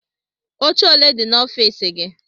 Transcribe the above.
Oche ole dị n'ọfiisi gị?